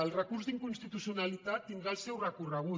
el recurs d’inconstitucionalitat tindrà el seu recorre·gut